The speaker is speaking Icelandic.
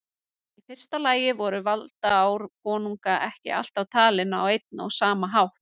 Í fyrsta lagi voru valdaár konunga ekki alltaf talin á einn og sama hátt.